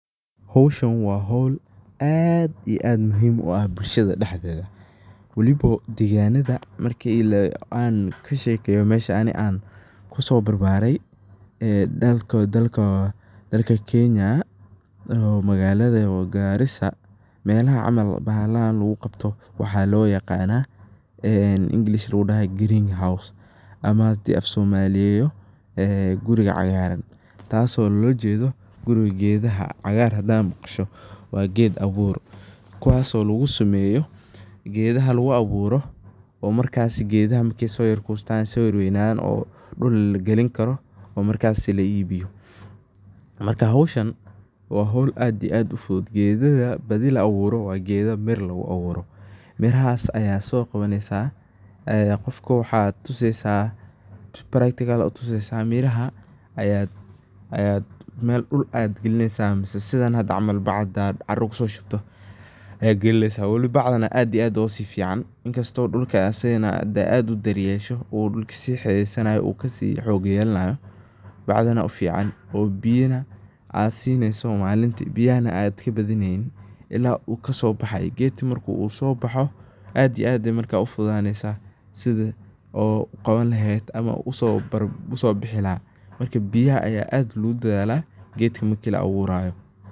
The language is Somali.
Howshan waa howl aad iyo aad muhim u ah bulshada dhexdedha , wali oo deganada marka an kashekeyo mesha aan aniga wali kuso barbarey oo dalka Kenya waliba magada Garissa melaha camal lagu qabta waxa loo yaqana oo English lagu daha Green house mise hadan Afsomaliyeyo guriga cagaraan, taso lolajedho cagaar hadad maqasho waa ged abur, kuwaso lagu sameyo, gedaha lagu abuuro oo markas gedaha markey so yara kustan oo so yara weydadhan dhul laga lini karo oo markasi la iibiyo . Marka howshan waa howl aad iyo aad u fudud ,gedaha badhi laa wuro waa gedaa beer lagu aburo , mirahas ayaa so qawanesa ,qofka waad tuseysa practical aa u tusesa, miraha dhul ayaad galinesa mise sidhan hada camal baac intad caaro kuso shubto ayaad galinesa wali bacdan ayaa aad iyo aad oga si fican , inkasto dhulka hada aad iyo aad u daryesho u kasi hidhidheysanayo uu kasii hogey sanayo .Bacdana kasi fican oo biyan aad sineso malinki, oo biyahana aad kabadideynin ilaa u kaso baxaya ,gedka marku so baxo aad iyo aad ayey marka u fududhaneysa sidha aad marka u qawani laheyd ama u usoo bixi laha ,biyaha ayaa aad logu dadhala gedka marki la a wurayo.